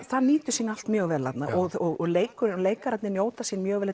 það nýtur sín allt mjög vel þarna og leikararnir leikararnir njóta sín mjög vel